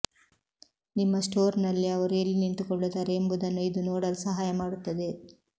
ನಿಮ್ಮ ಸ್ಟೋರ್ನಲ್ಲಿ ಅವರು ಎಲ್ಲಿ ನಿಂತುಕೊಳ್ಳುತ್ತಾರೆ ಎಂಬುದನ್ನು ಇದು ನೋಡಲು ಸಹಾಯ ಮಾಡುತ್ತದೆ